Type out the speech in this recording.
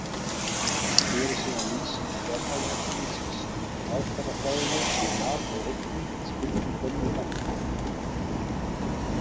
Hér er síðan lýsing Fjármálaeftirlitsins á aðferðafræðinni við mat á eignum og skuldum gömlu bankanna.